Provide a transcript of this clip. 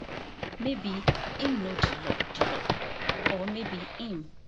maybe im know di law di law or maybe im